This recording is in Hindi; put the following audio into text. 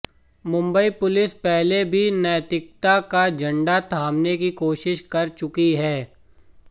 मुंबई पुलिस पहले भी नैतिकता का झंडा थामने की कोशिश कर चुकी है